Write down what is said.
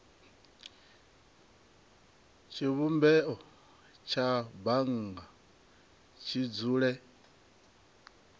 tshivhumbeo tsha bannga tshi dzule